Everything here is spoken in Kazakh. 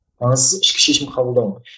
маңыздысы ішкі шешім қабылдау